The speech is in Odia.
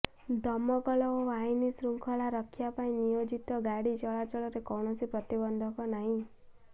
ଦମକଳ ଓ ଆଇନ ଶୃଙ୍ଖଳା ରକ୍ଷା ପାଇଁ ନିୟୋଜିତ ଗାଡ଼ି ଚଳାଚଳରେ କୌଣସି ପ୍ରତିବନ୍ଧକ ନାହିଁ